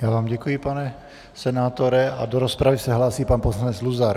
Já vám děkuji, pane senátore, a do rozpravy se hlásí pan poslanec Luzar.